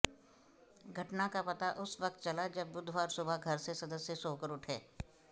घटना का पता उस वक्त चला जब बुधवार सुबह घर से सदस्य सोकर उठे